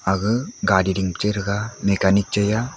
aga gaari ding chega machanic chai a.